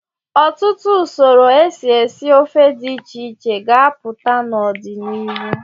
Ọtụtụ usoro esi esi ofe dị iche iche ga-apụta n'ọdịnihu.